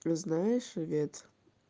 но знаешь ивет